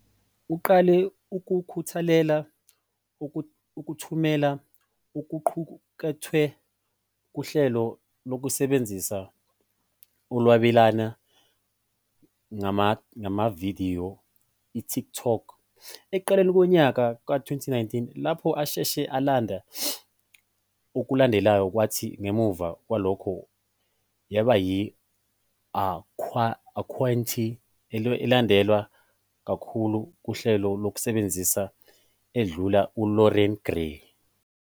Uqale ukukhuthalela ukuthumela okuqukethwe kuhlelo lokusebenza olwabelana ngamavidiyo, iTikTok, ekuqaleni konyaka ka-2019, lapho asheshe alanda okulandelayo kwathi ngemuva kwalokho yaba yi-akhawunti elandelwa kakhulu kuhlelo lokusebenza, edlula uLoren Grey.